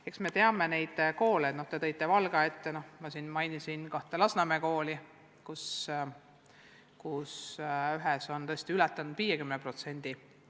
Eks me teame neid koole – te nimetasite Valgat, mina mainisin kahte Lasnamäe kooli, kus ühes on tõesti venekeelsete laste osakaal ületanud 50%.